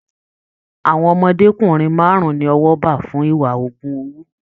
Àwọn ọmọdékunrin márùn ní ọwọ bá fún ìwà ogún owó.